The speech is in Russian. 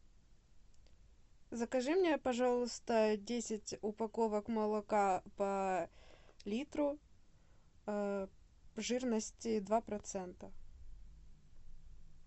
закажи мне пожалуйста десять упаковок молока по литру жирности два процента